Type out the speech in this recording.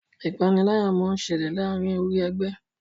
ìpaniláyà món ṣẹlẹ láàrin orí ègbé